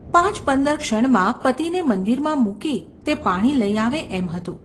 પાંચપંદર ક્ષણમાં પતિને મંદિરમાં મૂકી તે પાણી લઈ આવે એમ હતું.